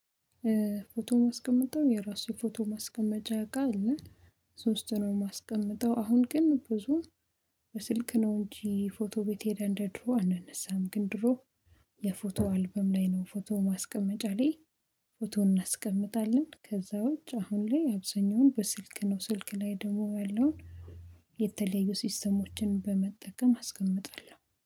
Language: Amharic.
ፎቶ ማስቀመጥው የራሴ ፎቶ ማስቀመጫ እቃ አለ። እዛ ውስጥ ነው ማስቀምጥው አሁን ግን ብዙም በስልክ ነው። እንጂ ፎቶ ቤት ሄደን እንደ ድሮ አንነሳም ግን ድሮ የፎቶ አልበም ላይ ነው። ፎቶ ማስቀመጫ ላይ ፎቶ እናስቀምጣለን ከዛ ውጭ አሁን ላይ አብዛኛውን በስልክ ነው። ስልክ ላይ ደግሞ ያለውን የተለዩ ሲስተሞችን በመጠቀም አስቀምጣለሁ